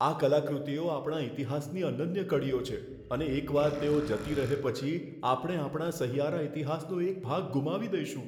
આ કલાકૃતિઓ આપણા ઇતિહાસની અનન્ય કડીઓ છે અને એકવાર તેઓ જતી રહે પછી, આપણે આપણા સહિયારા ઇતિહાસનો એક ભાગ ગુમાવી દઈશું.